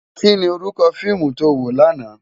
Ki ni órúkò fiimu tó wó làná?